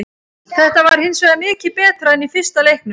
Þetta var hinsvegar mikið betra en í fyrsta leiknum.